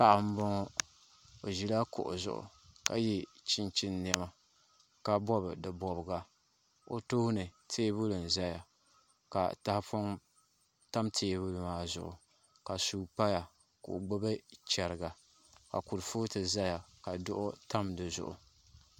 Paɣa n boŋo o ʒila kuɣu zuɣu ka yɛ chinchin niɛma ka bobi di bobga o tooni teebuli n ʒɛya ka tahapoŋ tam teebuli maa zuɣu ka suu paya ka o gbubi chɛriga ka kurifooti ʒɛya ka duɣu tam di zuɣu